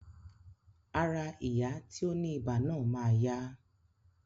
Ará ìyá tí ó ní ibà náà máa yá